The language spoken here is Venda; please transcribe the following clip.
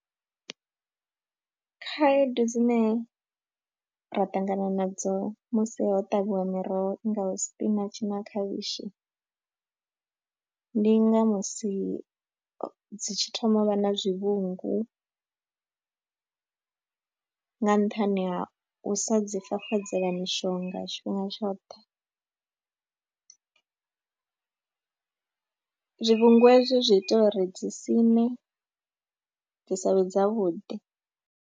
Khaedu dzine ra ṱangana nadzo musi ho ṱavhiwa miroho i ngaho sipinatshi na khavhishi ndi nga musi dzi tshi thoma u vha na zwivhungu nga nṱhani ha u sa dzi fafadzela mishonga tshifhinga tshoṱhe, zwivhungu ezwo zwi ita uri dzi siṋe dzi sa vhe dzavhuḓi.